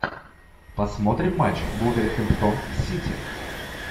посмотрим матч вулверхэмптон сити